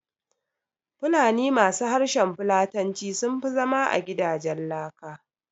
Fulani ma su harshen Fulatanci sunfi zama a gidajen laka